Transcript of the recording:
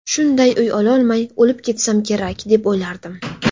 Shunday uy ololmay, o‘lib ketsam kerak, deb o‘ylardim.